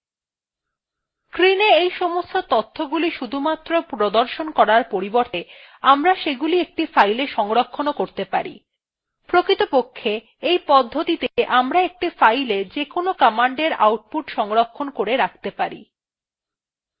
screena এই সমস্ত তথ্যগুলি শুধুমাত্র প্রদর্শন করার পরিবর্তে আমরা সেগুলি একটি file সংরক্ষণ করতে পারি প্রকৃতপক্ষে এই পদ্ধতিতে আমরা একটি file যেকোন command output সংরক্ষণ করে রাখতে পারি